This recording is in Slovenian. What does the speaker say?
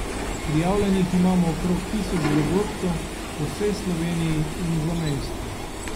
Prijavljenih imamo okrog tisoč dogodkov po vsej Sloveniji in v zamejstvu.